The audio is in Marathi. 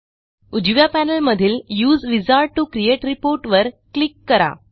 उजव्या पॅनेलमधील use wizard to create report वर क्लिक करा